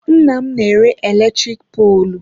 Nnam na-ere eletrik poolụ.